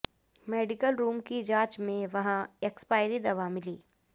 medical room की जांच में वहां एक्सपायरी दवा मिली